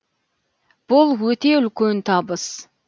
бұл өте үлкен табыс